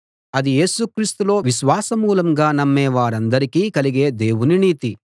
అది యేసు క్రీస్తులో విశ్వాసమూలంగా నమ్మే వారందరికీ కలిగే దేవుని నీతి